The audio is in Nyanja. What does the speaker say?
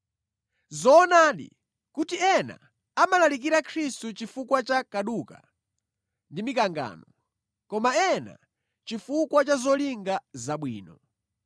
Nʼzoonadi kuti ena amalalikira Khristu chifukwa cha kaduka ndi mikangano, koma ena chifukwa cha zolinga zabwino.